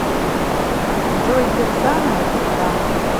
джой кирсанова пизда